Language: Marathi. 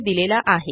यांनी दिलेला आहे